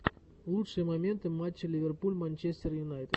лучшие моменты матча ливерпуль манчестер юнайтед